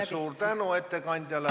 Suur tänu ettekandjale!